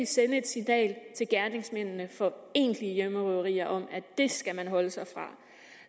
sende et signal til gerningsmændene for egentlige hjemmerøverier om at det skal man holde sig fra